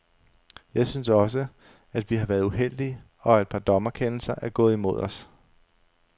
Jeg synes også, at vi har været uheldige, og at et par dommerkendelser er gået os imod.